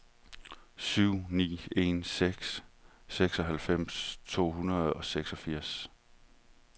syv ni en seks syvoghalvfems to hundrede og seksogfirs